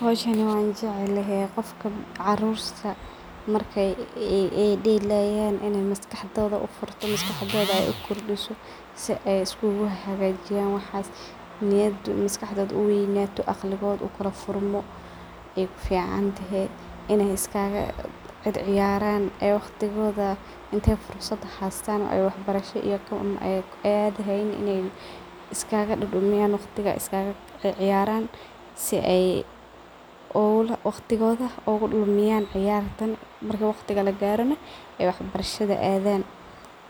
Hiowshani wanjeclhy qofka markay delayan in ay maskaxdoda udisto si ay iskuguhagajiyan waxas, maskaxdod u weynato maskaxdod ufuranto ay uficantaho , in ay iskaga circiyaran marka waqti hasytan ay kuficantahay waqtigodha ugudumiyn , marki waqtiha lagarana , waxbarashada adaan .